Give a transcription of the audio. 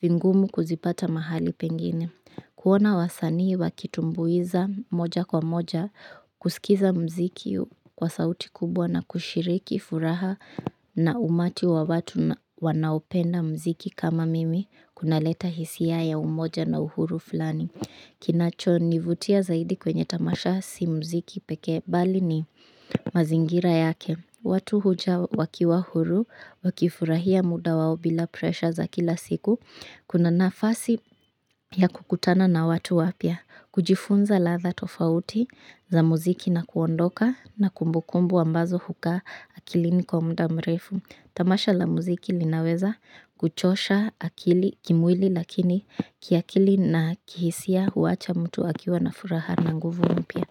vingumu kuzipata mahali pengine. Kuona wasanii wakitumbuiza moja kwa moja, kusikiza muziki kwa sauti kubwa na kushiriki furaha na umati wa watu wanaopenda muziki kama mimi, kunaleta hisia ya umoja na uhuru fulani. Kinachonivutia zaidi kwenye tamasha si muziki pekee bali ni mazingira yake. Watu huja wakiwa huru, wakifurahia muda wao bila presha za kila siku, kuna nafasi ya kukutana na watu wapya, kujifunza ladha tofauti za muziki na kuondoka na kumbukumbu ambazo hukaa akilini kwa muda mrefu. Tamasha la muziki linaweza kuchosha akili kimwili lakini kiakili na kihisia huacha mtu akiwa na furaha na nguvu mpya.